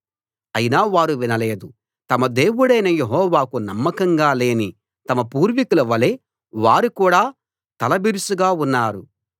అయినా వారు వినలేదు తమ దేవుడైన యెహోవాకు నమ్మకంగా లేని తమ పూర్వికుల వలే వారు కూడా తలబిరుసుగా ఉన్నారు